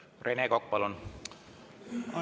Rene Kokk, palun!